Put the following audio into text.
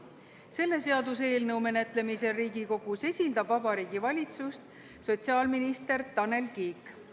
Selle seaduseelnõu menetlemisel Riigikogus esindab Vabariigi Valitsust sotsiaalminister Tanel Kiik.